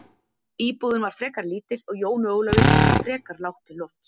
Íbúðin var frekar lítil og Jóni Ólafi þótti frekar lágt til lofts.